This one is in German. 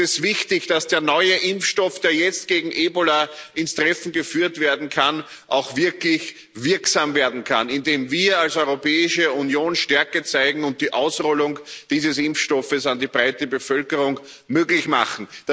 Also ist es wichtig, dass der neue Impfstoff, der jetzt gegen Ebola ins Treffen geführt werden kann, auch wirklich wirksam werden kann, indem wir als Europäische Union Stärke zeigen und die Ausrollung dieses Impfstoffes an die breite Bevölkerung möglich machen.